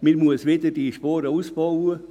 man muss die Spuren wieder ausbauen.